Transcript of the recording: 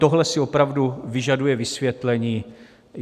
Tohle si opravdu vyžaduje vysvětlení.